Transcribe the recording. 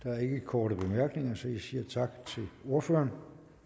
er ikke korte bemærkninger så jeg siger tak til ordføreren